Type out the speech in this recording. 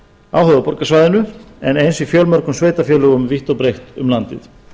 á höfuðborgarsvæðinu en eins í fjölmörgum sveitarfélögum vítt og breitt um landið